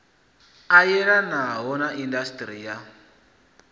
a yelanaho na indasiṱiri ya